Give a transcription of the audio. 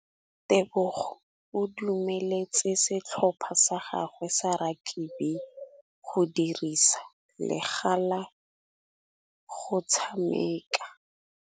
Tebogô o dumeletse setlhopha sa gagwe sa rakabi go dirisa le galê go tshameka.